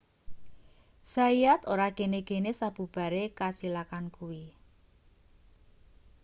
zayat ora gene-gene sabubare kacilakan kuwi